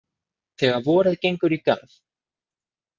Þegar vorið gengur í garð.